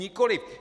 Nikoliv.